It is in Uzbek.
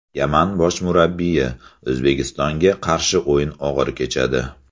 Yaman bosh murabbiyi: O‘zbekistonga qarshi o‘yin og‘ir kechadi.